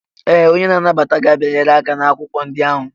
Ee! Onye na-anabata gị abịanyela aka n'akwụkwọ ndị ahụ.